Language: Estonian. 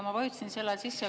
Ma vajutasin sel ajal seda nuppu.